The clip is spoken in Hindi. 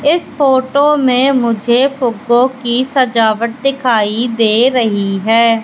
इस फोटो में मुझे फूबो की सजावट दिखाई दे रही है।